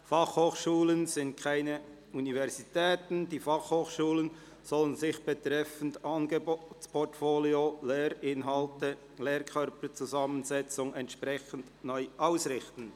«Fachhochschulen sind keine Universitäten – Die Fachhochschulen (FH) sollen sich betreffend Angebotsportfolio, Lehrinhalten und Lehrkö rperzusammensetzung entsprechend neu ausrichten».